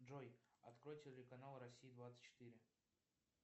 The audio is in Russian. джой открой телеканал россия двадцать четыре